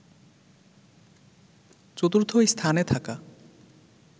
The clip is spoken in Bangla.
চতুর্থ স্থানে থাকা